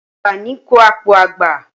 Àgbà ní ń kọ́ àpò àgbà.